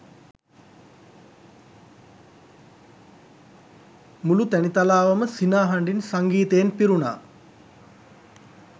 මුළු තැනිතලාවම සිනා හඬින් සංගීතයෙන් පිරුණා.